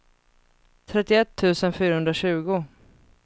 trettioett tusen fyrahundratjugo